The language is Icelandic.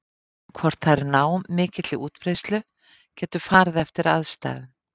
Hvort þær ná mikilli útbreiðslu getur farið eftir aðstæðum.